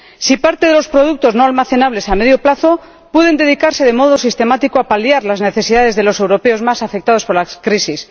si parte de los productos no almacenables a medio plazo pueden dedicarse de modo sistemático a paliar las necesidades de los europeos más afectados por la crisis